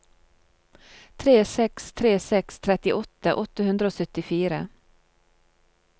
tre seks tre seks trettiåtte åtte hundre og syttifire